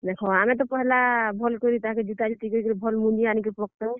ଦେଖ ଆମେତ ପହେଲା ଭଲ୍ କରି ତାହାକେ ଜୁତା ଜୁତି କରି କରି ଭଲ୍ ମଂଜି ଆନିକରି ତାକେ ପକାଲୁଁ।